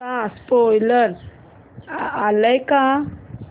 चा स्पोईलर आलाय का